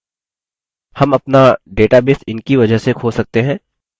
हम अपना database इनकी वजह से खो सकते हैं